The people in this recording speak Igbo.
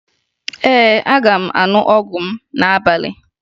Ee, aga m aṅụ ọgwụ m n'abalị